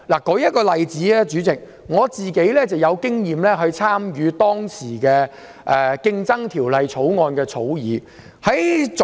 代理主席，舉例而言，我曾參與《競爭條例草案》的審議工作。